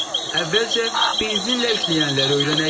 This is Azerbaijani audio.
Əvvəlcə benzinlə işləyənləri öyrənək.